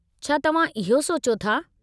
छा तव्हां इहो सोचियो था?